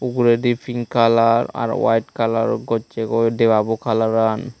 uguredi pink color aro white color gocche goi debabo coloran .